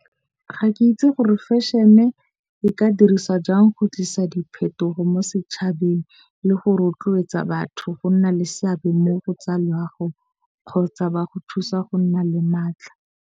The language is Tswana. Ga ke itse gore fashion-e e ka diriswa jang go tlisa diphetogo mo setšhabeng le go rotloetsa batho go nna le seabe mo go tsa loago, kgotsa ba go thusa go nna le maatla.